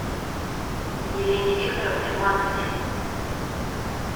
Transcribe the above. елене викторовне маркиной